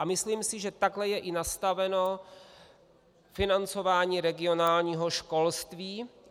A myslím si, že takhle je i nastaveno financování regionálního školství.